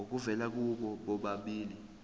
obuvela kubo bobabili